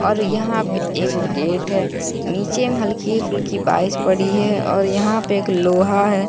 और यहां पे एक गेट है नीचे में हल्की फुल्की बारिश पड़ी है और यहां पे एक लोहा है।